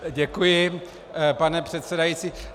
Děkuji, pane předsedající.